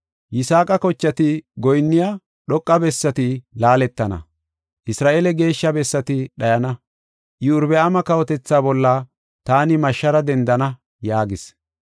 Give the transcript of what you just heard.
Yisaaqa kochati goyinniya dhoqa bessati laaletana; Isra7eele geeshsha bessati dhayana; Iyorbaama kawotethaa bolla taani mashshara dendana” yaagis.